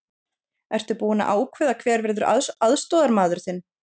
Ertu búinn að ákveða hver verður aðstoðarmaður þinn?